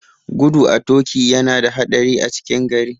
Gudu a toƙi yana da haɗari a cikin gari.